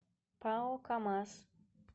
пао камаз